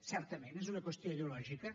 certament és una qüestió ideològica